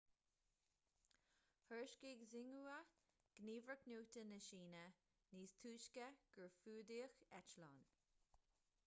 thuairiscigh xinhua gníomhaireacht nuachta na síne níos túisce gur fuadaíodh eitleán